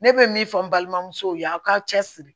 Ne bɛ min fɔ n balimamusow ye aw k'a cɛ siri